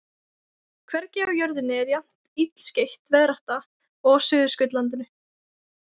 Hvergi á jörðinni er jafn illskeytt veðrátta og á Suðurskautslandinu.